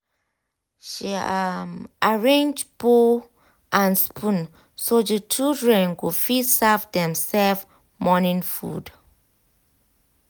she um arrange bowl um and spoon so the children go fit serve dem-self morning food.